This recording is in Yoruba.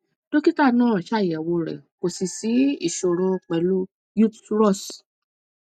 dókítà náà ṣàyẹwò rẹ kò sì sí ìṣòro pẹlú utrus